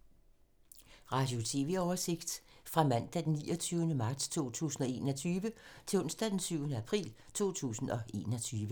Radio/TV oversigt fra mandag d. 29. marts 2021 til onsdag d. 7. april 2021